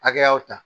Hakɛyaw ta